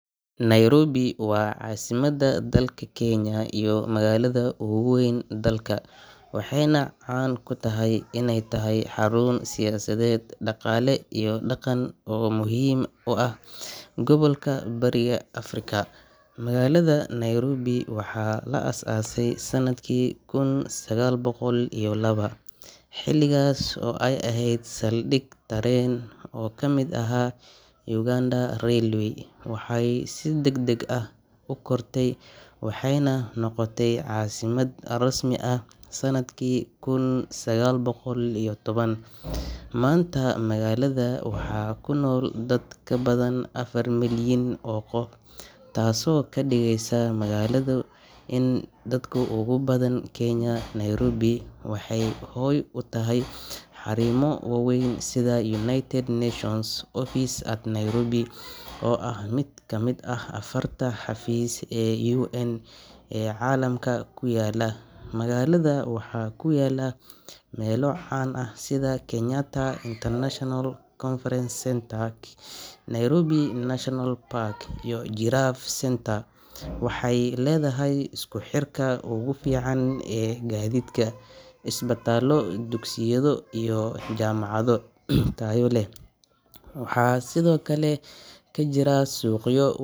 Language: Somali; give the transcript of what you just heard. Nairobi waa caasimadda dalka Kenya iyo magaalada ugu weyn dalka, waxayna caan ku tahay inay tahay xarun siyaasadeed, dhaqaale iyo dhaqan oo muhiim u ah gobolka Bariga Afrika. Magaalada Nairobi waxaa la aasaasay sanadkii kun sagaal boqol iyo laba (1902) xilligaas oo ay ahayd saldhig tareen oo ka mid ahaa Uganda Railway. Waxay si degdeg ah u kortay waxayna noqotay caasimad rasmi ah sanadkii kun sagaal boqol iyo toban (1907). Maanta, magaalada waxaa ku nool dad ka badan afar milyan oo qof, taasoo ka dhigaysa magaalada ugu dadka badan Kenya. Nairobi waxay hoy u tahay xarumo waaweyn sida United Nations Office at Nairobi oo ah mid ka mid ah afarta xafiis ee UN ee caalamka ku yaala. Magaalada waxaa ku yaalla meelo caan ah sida Kenyatta International Conference Centre (KICC), Nairobi National Park, iyo Giraffe Centre. Waxay leedahay isku xirka ugu fiican ee gaadiidka, isbitaallo, dugsiyo iyo jaamacado tayo leh. Waxaa sidoo kale ka jira suuqyo.